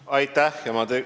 Aitäh!